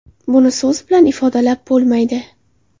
Buni so‘z bilan ifodalab bo‘lmaydi.